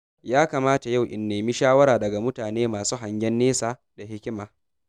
Yakamata yau in nemi shawara daga mutane masu hangen nesa da hikima.